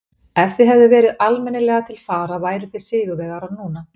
Ef þið hefðuð verið almennilega til fara væruð þið sigurvegarar núna.